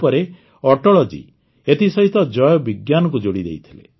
ପରେ ଅଟଳ ଜୀ ଏଥିସହିତ ଜୟ ବିଜ୍ଞାନକୁ ଯୋଡ଼ିଦେଇଥିଲେ